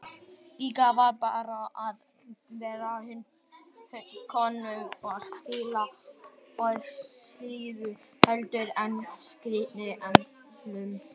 Líklega var betra að færa konungi skilaboðin og silfur heldur en skilaboðin einsömul.